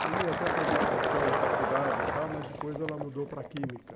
Cheguei até a fazer inscrição na faculdade e tal, mas depois ela mudou para Química.